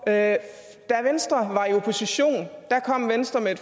da venstre var i opposition kom venstre med